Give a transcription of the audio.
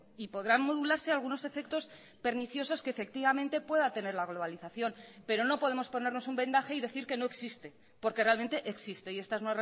y podrán modularse algunos efectos perniciosos que efectivamente pueda tener la globalización pero no podemos ponernos un vendaje y decir que no existe porque realmente existe y esta es